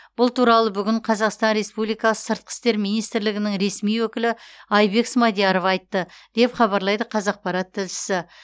бұл туралы бүгін қазақстан республикасы сыртқы істер министрлігінің ресми өкілі айбек смадияров айтты деп хабарлайды қазақпарат тілшісі